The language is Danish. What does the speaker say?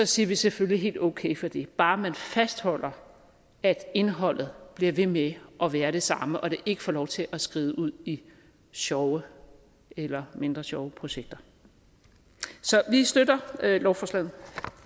siger vi selvfølgelig helt okay for det bare man fastholder at indholdet bliver ved med at være det samme og det ikke får lov til at skride ud i sjove eller mindre sjove projekter så vi støtter lovforslaget